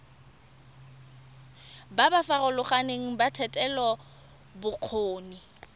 ba ba farologaneng ba thetelelobokgoni